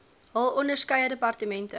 hul onderskeie departemente